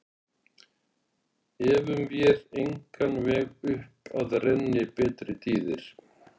Efum vér á engan veg upp að renni betri tíðir